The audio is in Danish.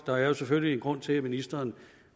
der er jo selvfølgelig en grund til at ministeren